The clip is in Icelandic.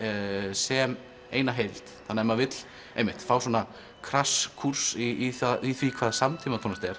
sem eina heild þannig að ef maður vill fá svona kúrs í í því hvað samtímatónlist er